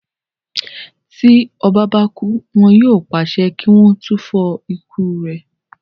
Tí ọba bá ti kú, wọn yóò pàṣẹ kí wọ́n túfọ̀ ikú rẹ̀